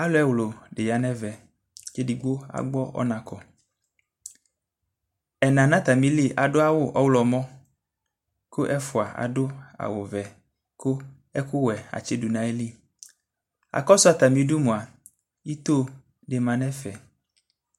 Alʋ ɛwlʋ dɩ ya nʋ ɛvɛ Edigbo agbɔ ɔna kɔ Ɛna nʋ atamɩli adʋ awʋ ɔɣlɔmɔ kʋ ɛfʋa adʋ awʋvɛ kʋ ɛkʋwɛ atsɩdʋ nʋ ayili Akɔsʋ atamɩdu mʋa, ito dɩ ma nʋ ɛfɛ